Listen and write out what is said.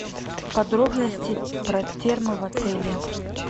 подробности про термо в отеле